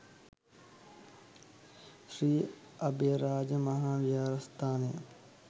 ශ්‍රී අභයරාජ මහා විහාරස්ථානය